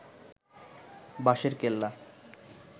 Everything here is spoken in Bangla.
বাঁশেরকেল্লা